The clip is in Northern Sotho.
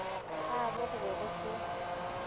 gabo go be go se